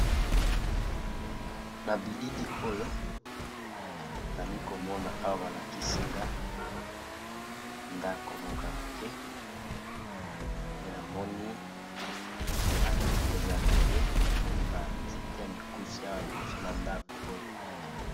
Na bilili oyo nazalikomona balakisinga ndako moko ya moke pe namoni ba bati yango eza yamabe namoni ba nzete ya Mikuse .